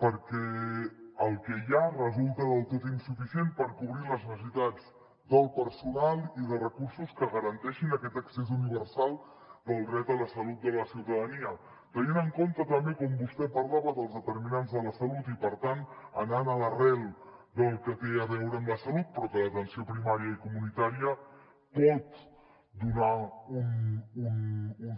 perquè el que hi ha resulta del tot insuficient per cobrir les necessitats del personal i de recursos que garanteixin aquest accés universal al dret a la salut de la ciutadania tenint en compte també com vostè en parlava els determinants de la salut i per tant anant a l’arrel del que té a veure amb la salut però que l’atenció primària i comunitària pot donar un